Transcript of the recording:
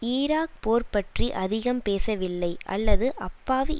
Iraq போர் பற்றி அதிகம் பேசவில்லை அல்லது அப்பாவி